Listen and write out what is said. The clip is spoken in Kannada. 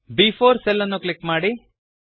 ಬ್4 ಸೆಲ್ ಅನ್ನು ಕ್ಲಿಕ್ ಮಾಡಿ